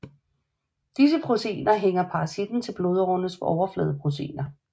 Disse proteiner hægter parasitten til blodårenes overfladeproteiner